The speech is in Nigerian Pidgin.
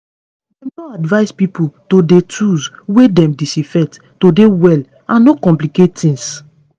dem don advise pipo to dey tools wey dem disinfect to dey well and no complicate tings